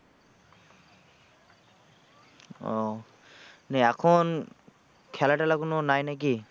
ও মানে এখন খেলা টেলা গুলো নাই নাকি?